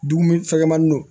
Dumuni fɛgɛnmanin don